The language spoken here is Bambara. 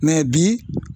bi